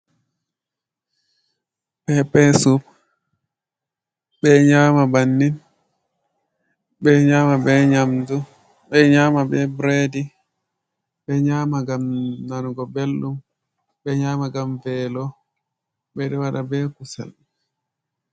Pepesup ɓe nyama bannin, ɓe nyama be nyamdu ɓe nyama be bredi, ɓe nyama gam nanugo belɗum, be nyama gam velo ɓe waɗa be kusal.